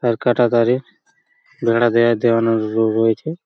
আর কাটাতারের বেড়া দেওয়া দেওয়ানো র-রয়েছে।